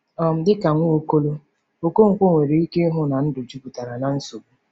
um Dị ka Nwaokolo, Okonkwo nwere ike ịhụ na ndụ jupụtara na nsogbu.